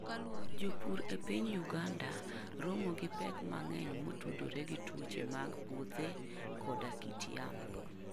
Jopur e piny Uganda romo gi pek mang'eny motudore gi tuoche mag puothe koda kit yamo.